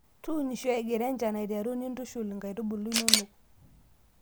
tuunisho egira enshan aiteru nintushul inkaitubulu inonok